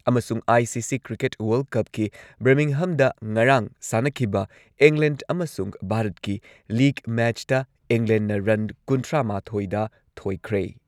ꯑꯃꯁꯨꯡ I C C cricket world ꯀꯞꯀꯤ ꯕꯔꯃꯤꯡꯍꯝꯗ ꯉꯔꯥꯡ ꯁꯥꯟꯅꯈꯤꯕ ꯏꯪꯂꯦꯟꯗ ꯑꯃꯁꯨꯡ ꯚꯥꯔꯠꯀꯤ ꯂꯤꯒ ꯃꯦꯆꯇ ꯏꯪꯂꯦꯟꯗꯅ ꯔꯟ ꯀꯨꯟꯊ꯭ꯔꯥꯃꯥꯊꯣꯏꯗ ꯊꯣꯏꯈ꯭ꯔꯦ ꯫